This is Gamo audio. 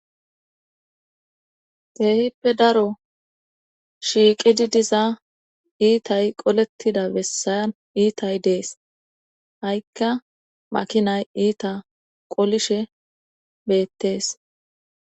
Keehippe daro shiiqidi diza iitay qolettida bessayan iitay dees ha'ikka makinay iita qolishe beettees